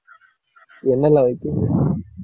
என்னெல்லாம் வைப்பிங்க